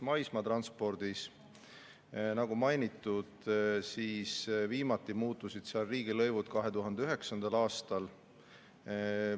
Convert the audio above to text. Maismaatranspordis, nagu mainitud, muutusid riigilõivud viimati 2009. aastal.